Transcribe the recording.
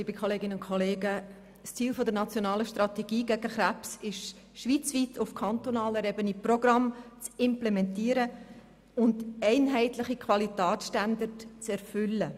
Das Ziel der nationalen Strategie gegen Krebs ist es, schweizweit auf kantonaler Ebene Programme zu implementieren und einheitliche Qualitätsstandards zu erfüllen.